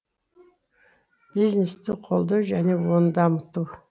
бизнесті қолдау және оны дамыту